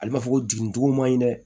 Ale b'a fɔ ko jigigo man ɲi dɛ